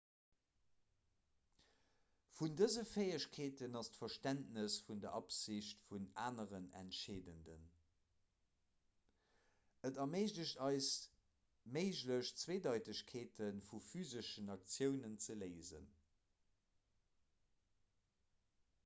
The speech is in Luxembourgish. vun dëse fäegkeeten ass d'verständnes vun der absicht vun aneren entscheedend et erméiglecht eis méiglech zweedeitegkeete vu physeschen aktiounen ze léisen